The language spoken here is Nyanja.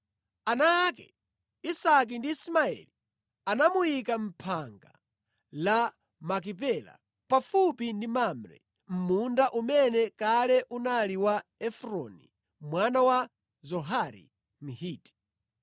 Ana ake, Isake ndi Ismaeli anamuyika mʼphanga la Makipela pafupi ndi Mamre, mʼmunda umene kale unali wa Efroni mwana wa Zohari Mhiti,